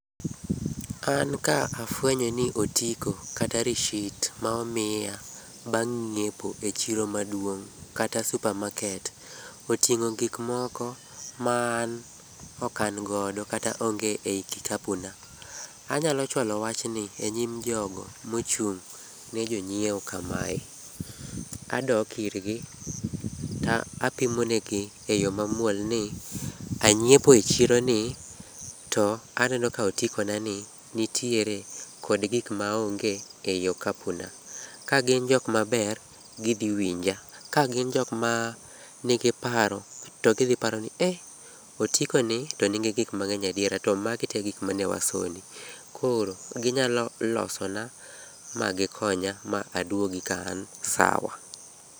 An ka afwenyo ni otiko kata receipt ma omiya bang ng'iepo e chiro maduong kata supermarket oting'o gikmoko maan okan godo kata onge ei kikapu na. Anyalo chwalo wachni enyim jogo mochung' ne jonyiewo kamae. Adok irgi to apimonegi e yo mamuol ni anyiepo e chironi to aneno ka otikonani nitiere kod gik maonge ei okapuna. Kagin jokmaber to gidhi winja, to gin jokma nigi paro to gidhi paro ni otikoni to nigi gikmang'eny adiera to magi tegik manewasoni. Koro, ginyalo losona ma gikonya ma adwogi ka an sawa.